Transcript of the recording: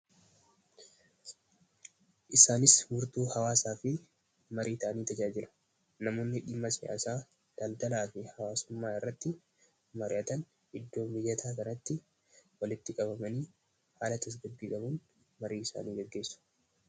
Isaanis furtuu hawwaasaa fi marii ta'anii tajaajilu. Namoonni dhimma siyaasaa fi daldalaa mari'atan iddoo mijataa biratti walitti qabamanii marii isaanii gaggeessu.